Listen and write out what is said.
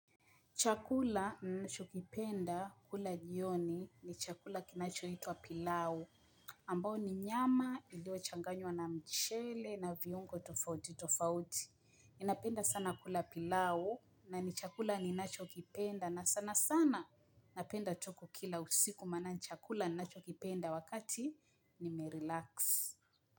Chakula nachokipenda kula jioni ni chakula kinachoitwa pilau. Ambao ni nyama iliyochanganywa na mchele na viungo tofauti tofauti. Ninapenda sana kula pilau na ni chakula ninachokipenda na sana sana napenda tu kukila usiku maana ni chakula ninachokipenda wakati nimerelax.